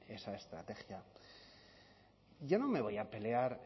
esa estrategia yo no me voy a pelear